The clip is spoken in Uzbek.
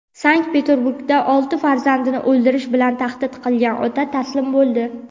Sankt-Peterburgda olti farzandini o‘ldirish bilan tahdid qilgan ota taslim bo‘ldi.